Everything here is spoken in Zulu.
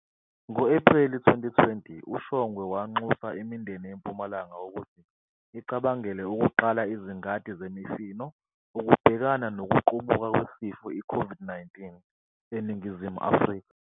Ngo-Ephreli 2020, uShongwe wanxusa imindeni eMpumalanga ukuthi icabangele ukuqala izingadi zemifino ukubhekana nokuqubuka kwesifo i-Covid-19 eNingizimu Afrika